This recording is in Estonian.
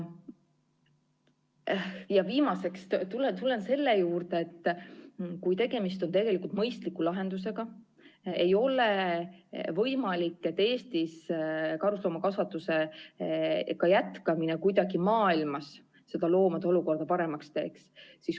Ja viimaseks tulen selle juurde, et kui tegemist on mõistliku lahendusega, ei ole võimalik, et Eestis karusloomakasvatuse jätkamine kuidagi maailmas loomade olukorda paremaks teeks.